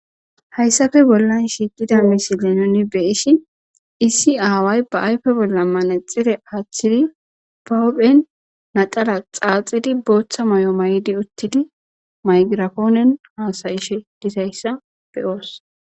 hayssafe bollan shiiqida misile nuni be ishi issi aaway ba ayfe bolla maanexire aaththidi bawophen nadala xaaxidi booththa moy7o may7di uttidi maygirakoonen haasayishe dizayssa beyoos